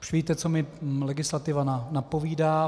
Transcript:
Už víte, co mi legislativa napovídá.